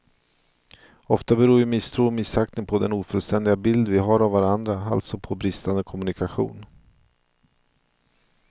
Ofta beror ju misstro och missaktning på den ofullständiga bild vi har av varandra, alltså på bristande kommunikation.